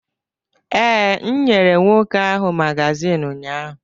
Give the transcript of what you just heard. Ee, m nyere nwoke ahụ magazin ụnyahụ.